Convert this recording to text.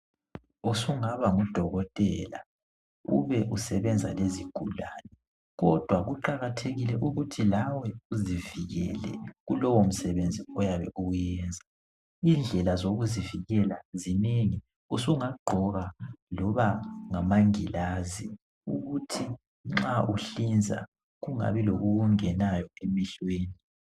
usungaba ngu dokotela ube usebenza lezigulane kodwa kuqakathekile ukuthi lawe uzivikele kulowo msebenzi oyabe uwuyenza indlela yokuzivikela zinengi usungagqoka loba ngamangilazi ukuthi nxa uhlinza kungabi lokukungenayo emehlweni